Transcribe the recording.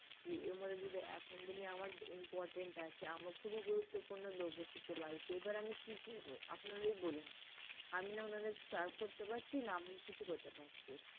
এখন যেমন আমার important আছে আমার খুবই গুরুত্বপূর্ণ লোক এসেছে বাড়িতে এবার আমি কি করবো আপনারাই বলুন আমি না ওনাদেরকে serve করতে পারছি না আমি কিছু করতে পারছি।